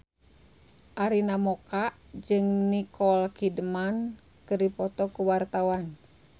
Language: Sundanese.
Arina Mocca jeung Nicole Kidman keur dipoto ku wartawan